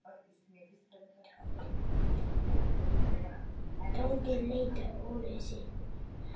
Tóti leit á úrið sitt.